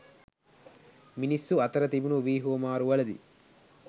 මිණිස්සු අතර තිබුනු වී හුවමාරු වලදී